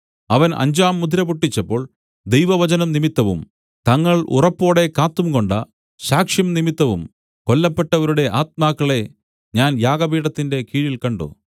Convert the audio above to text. അവൻ അഞ്ചാം മുദ്ര പൊട്ടിച്ചപ്പോൾ ദൈവവചനം നിമിത്തവും തങ്ങൾ ഉറപ്പോടെ കാത്തുകൊണ്ട സാക്ഷ്യം നിമിത്തവും കൊല്ലപ്പെട്ടവരുടെ ആത്മാക്കളെ ഞാൻ യാഗപീഠത്തിന്റെ കീഴിൽ കണ്ട്